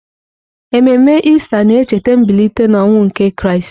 Ememe Ista na-echeta mbilite n'ọnwụ nke Kraịst.